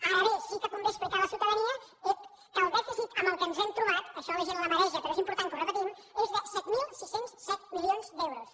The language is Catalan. ara bé sí que convé explicar a la ciutadania ep que el dèficit amb què ens hem trobat això a la gent la mareja però és important que ho repetim és de set mil sis cents i set milions d’euros